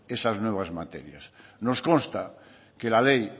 esas nuevas materias nos consta que la ley